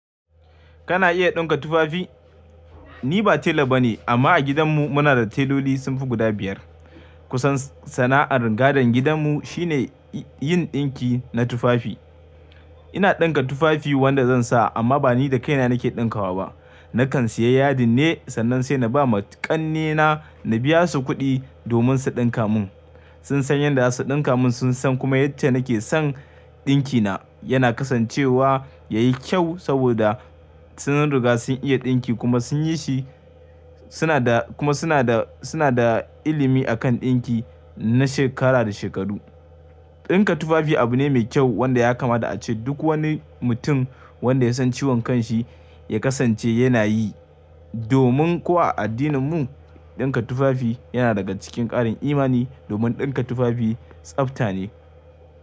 Kana iya ɗinka tufafi? Ni ba tela ba ne amma a gidanmu muna da teloli sun fi guda biyar. Kusan sana'ar gadon gidanmu sh ine yin ɗinki na tufafi. Ina ɗinka tufafi wanda zan sa amma ba ni da kaina nake ɗinkawa ba. Nakan sayi yadin ne sannan sai na ba ma ƙannena na biya su kuɗi domin su ɗinka mun. Sun san yadda za su ɗinka mun, sun san kuma yadda nake son ɗinki na. Yana kasancewa yayi kyau saboda sun riga sun iya ɗinki kuma sun yi shi suna da kuma suna da suna da ilimi akan ɗinki na shekara da shekaru. Ɗinka tufafi abu ne mai kyau wanda ya kamata a ce duk wani mutum wanda ya san ciwon kan shi ya kasance yana yi. Domin ko a addininmu ɗinka tufafi yana daga cikin ƙarin imani domin ɗinka tufafi tsabta ne.